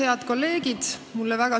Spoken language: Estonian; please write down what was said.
Head kolleegid!